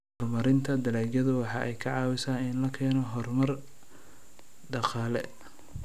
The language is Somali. Horumarinta dalagyadu waxa ay ka caawisaa in la keeno horumar dhaqaale.